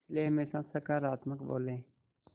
इसलिए हमेशा सकारात्मक बोलें